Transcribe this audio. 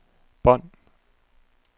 bånd